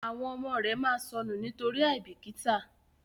àwọn ọmọ rẹ má sọnù nitori aibikita,